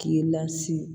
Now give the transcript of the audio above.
K'i lasigi